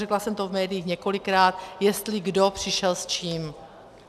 Řekla jsem to v médiích několikrát, jestli kdo přišel s čím.